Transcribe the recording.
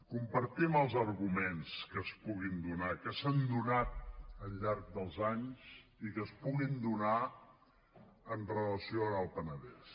compartim els arguments que es puguin donar que s’han donat al llarg dels anys i que es puguin donar amb relació al penedès